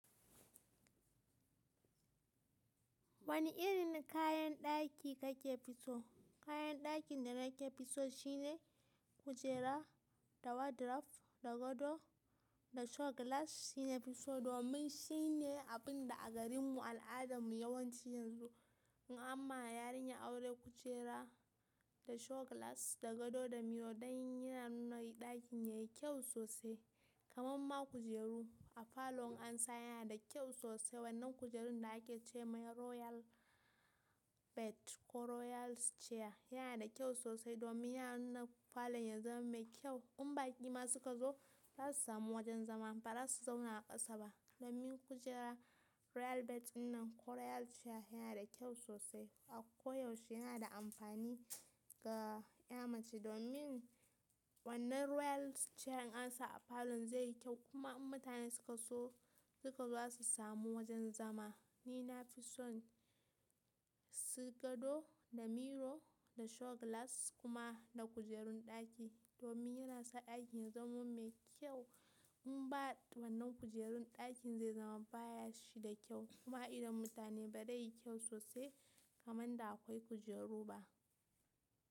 Wani irin kayan ɗaki kake fi so? Kayan dakin da nake fi so shine kujera da wardrobe da gado da show glass shine fi so domin shine abin da a garin mu al'adamu yawanci yanzu. Amma yarinya aure kujera da show glass da gado da miro dan yana nuna ɗakin yayi kyau sosai. Kaman ma kujeru a falo in ansa yana da kyau sosai. Wannan kujerun da ake ce mai royal bed ko royal chair yana da kyau sosai, domin yana nuna falon ya zama mai kyau. In baƙi ma suka zo za su samu wajen zama ba za su zauna a ƙasa ba. Domin kujera royal bed dinnan ko royal chair yana da kyau sosai a koyaushe yana da amfani ga 'ya mace domin wannan royal chair in ansa a falo zai yi kyau kuma in mutane suka so suka zo za su samu wajen zama. Ni nafi son su gado da miro da show glass kuma da kujerun ɗaki domin yana sa ɗakin ya zama mai kyau. In ba wannan kujerun ɗakin zai zama bashi da kyau kuma a idon mutane ba zai yi kyau sosai kamar da akwai kujeru ba.